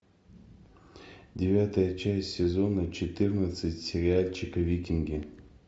девятая часть сезона четырнадцать сериальчика викинги